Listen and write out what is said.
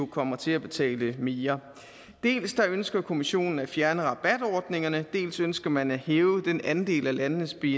kommer til at betale mere dels ønsker kommissionen at fjerne rabatordningerne dels ønsker man at hæve den andel af landenes bni